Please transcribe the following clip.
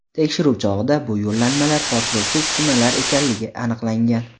Tekshiruv chog‘ida bu yo‘llanmalar portlovchi uskunalar ekanligi aniqlangan.